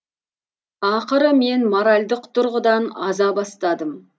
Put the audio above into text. ақыры мен моральдық тұрғыдан аза бастадым